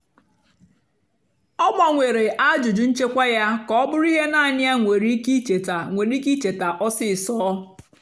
ọ́ gbanwèré àjụ́jụ́ nchèkwà yá kà ọ́ bụ́rụ́ íhé náànị́ yá nwèrè íké íchétá nwèrè íké íchétá ọ́sisọ́.